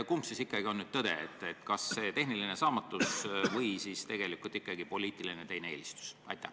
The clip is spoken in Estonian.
Kumb on ikkagi tõde: kas tehniline saamatus või ikkagi teine poliitiline eelistus?